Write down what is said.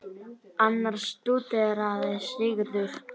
Annars stúderaði Sigurður